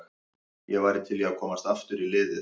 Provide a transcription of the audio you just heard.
Ég væri til í að komast aftur í liðið.